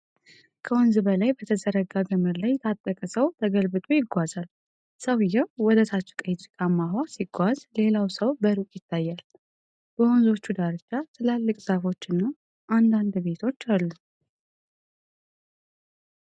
ከወንዝ በላይ በተዘረጋ ገመድ ላይ የታጠቀ ሰው ተገልብጦ ይጓዛል። ሰውዬው ወደ ታች ቀይ ጭቃማ ውሃ ሲጓዝ፣ ሌላ ሰው በሩቅ ይታያል። በወንዙ ዳርቻ ትላልቅ ዛፎችና አንዳንድ ቤቶች አሉ።